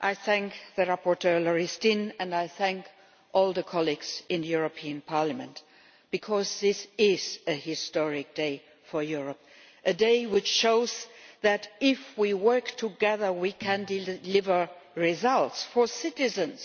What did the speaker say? I thank rapporteur Marju Lauristin and I thank all the colleagues in the European Parliament, because this is a historic day for Europe a day which shows that if we work together we can deal deliver results for citizens,